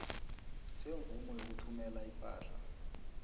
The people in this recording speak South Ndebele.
semvumo yokuthumela ipahla